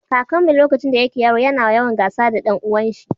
kakanmu yace lokacin da yake yaro ya na yawan gasa da dan uwan shi